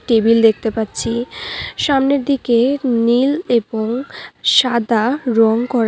Table দেখতে পাচ্ছি সামনের দিকে নীল এবং সাদা রং করা।